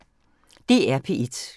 DR P1